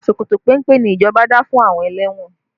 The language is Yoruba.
Ṣòkòtò péńpé ni ìjọba dá fún àwọn ẹlẹ́wọ̀n